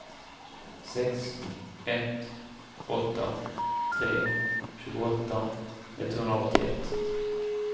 sex ett åtta tre tjugoåtta etthundraåttioett